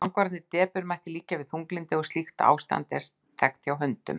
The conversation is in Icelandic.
langvarandi depurð mætti líkja við þunglyndi og slíkt ástand er þekkt hjá hundum